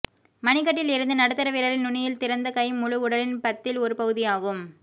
மணிக்கட்டில் இருந்து நடுத்தர விரலின் நுனியில் திறந்த கை முழு உடலின் பத்தில் ஒரு பகுதியாகும்